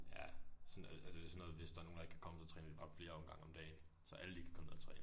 Ja så noget altså det er sådan noget hvis der er nogen der ikke kan komme så træner de bare flere omgange om dagen så alle kan komme ned og træne